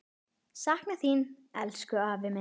Sakna þín, elsku afi minn.